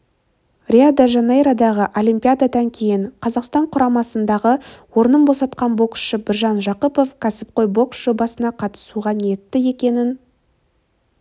рио-де-жанейродағы олимпиададан кейін қазақстан құрамасындағы орнын босатқан боксшы біржан жақыпов кәсіпқой бокс жобасына қатысуға ниетті екенін